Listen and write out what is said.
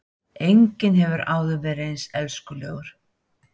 Enginn hefur áður verið eins elskulegur